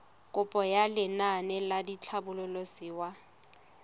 kopo ya lenaane la tlhabololosewa